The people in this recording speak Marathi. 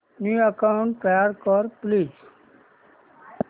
न्यू अकाऊंट तयार कर प्लीज